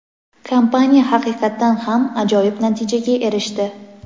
kompaniya haqiqatan ham ajoyib natijaga erishdi.